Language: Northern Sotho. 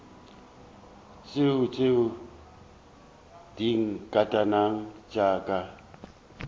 tšo tšea dinkatana tša ka